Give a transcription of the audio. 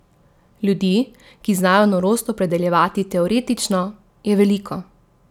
Ljudi, ki znajo norost opredeljevati teoretično, je veliko.